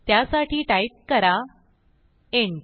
त्यासाठी टाईप करा इंट